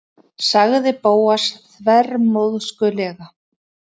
sagði Bóas þvermóðskulega.